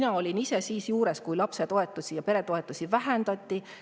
Ma olin ise juures, kui lapsetoetusi ja peretoetusi vähendati.